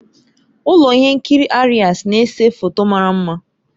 Ụlọ ihe nkiri Aries na-ese foto mara mma